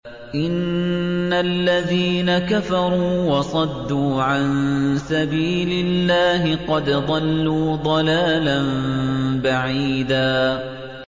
إِنَّ الَّذِينَ كَفَرُوا وَصَدُّوا عَن سَبِيلِ اللَّهِ قَدْ ضَلُّوا ضَلَالًا بَعِيدًا